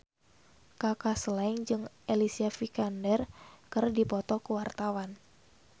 Kaka Slank jeung Alicia Vikander keur dipoto ku wartawan